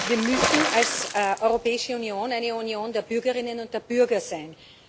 Wir müssen als Europäische Union eine Union der Bürgerinnen und der Bürger sein.